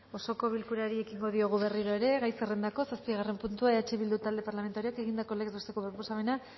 osoko bilkurari ekingo diogu berriro ere gai zerrendako zazpigarren puntua eh bildu talde parlamentarioak egindako legez besteko proposamena